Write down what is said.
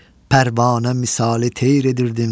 Pərvanə misali teyr edirdim.